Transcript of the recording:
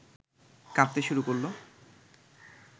কাঁদতে শুরু করল